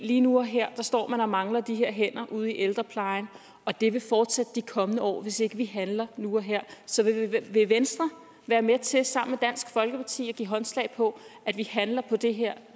lige nu og her står man og mangler de her hænder ude i ældreplejen og det vil fortsætte de kommende år hvis ikke vi handler nu og her så vil venstre være med til sammen med dansk folkeparti at give håndslag på at vi handler på det her